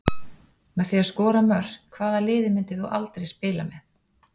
Með því að skora mörk Hvaða liði myndir þú aldrei spila með?